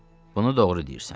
Bunu doğru deyirsən.